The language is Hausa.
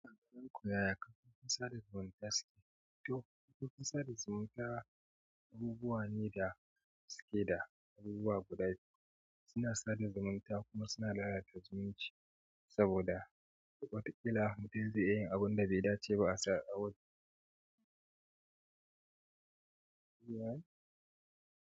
Kakan koyaya kafin ka sada zumunta haske. To kafin ka sada zumunta abubuwa ne da haske da abubuwa guda. Suna sada zumunta kuma suna lalata zumunci saboda wataƙila mutum zai iya abin da bai dace ba a wurin.